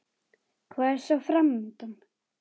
Hvað er svo fram undan?